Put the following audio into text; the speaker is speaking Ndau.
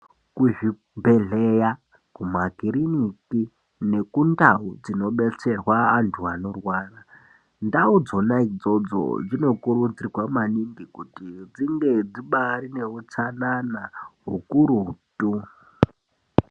Kuzvibhedhleya, makiriniki nekundawu dzinobetserwa antu anorwara ndawu dzona idzodzo dzinokuridzirwa maningi kuti dzinge dzibairi neutsanana ukurutu.